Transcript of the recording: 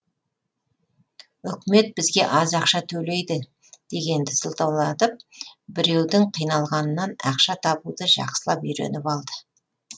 үкімет бізге аз ақша төлейді дегенді сылтаулатып біреудің қиналғанынан ақша табуды жақсылап үйреніп алды